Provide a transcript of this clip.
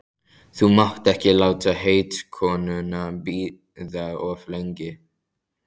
Þú mátt ekki láta heitkonuna bíða of lengi.